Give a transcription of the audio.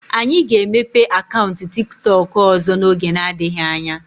Anyị ga-emepe akaụntụ tiktok ọzọ n'oge adịghị anya.